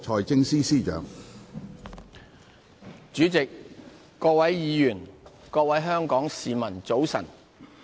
主席、各位議員、各位香港市民，早晨。